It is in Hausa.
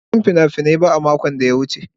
Ban je wurin fina-finai ba a makon da ya wuce.